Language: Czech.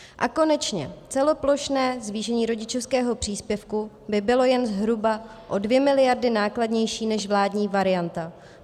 A konečně celoplošné zvýšení rodičovského příspěvku by bylo jen zhruba o 2 miliardy nákladnější než vládní varianta.